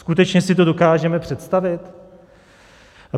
Skutečně si to dokážeme představit?